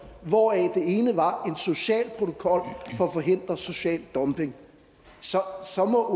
hvoraf det ene var en social protokol for at forhindre social dumping så må